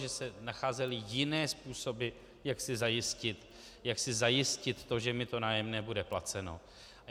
Že se nacházely jiné způsoby, jak si zajistit to, že mi to nájemné bude placeno.